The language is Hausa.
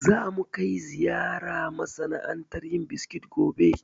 Za mu kai ziyara masana'antar yin biskit gobe